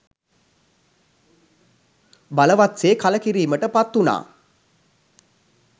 බලවත් සේ කළකිරීමට පත්වුණා.